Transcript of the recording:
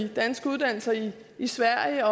danske uddannelser i i sverige